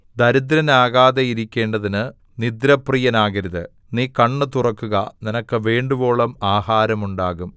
ദരിദ്രനാകാതെയിരിക്കേണ്ടതിന് നിദ്രാപ്രിയനാകരുത് നീ കണ്ണ് തുറക്കുക നിനക്ക് വേണ്ടുവോളം ആഹാരം ഉണ്ടാകും